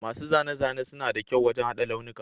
Masu zane-zane suna da kyau wajen haɗa launuka